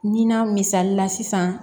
Nin na misali la sisan